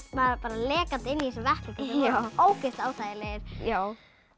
lekandi inn í þessum vettlingum ógeðslega óþægilegir já